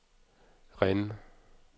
Rennes